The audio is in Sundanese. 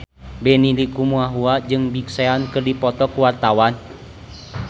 Benny Likumahua jeung Big Sean keur dipoto ku wartawan